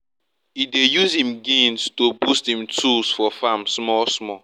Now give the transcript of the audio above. e dey use him gains to boost him tools for farm small small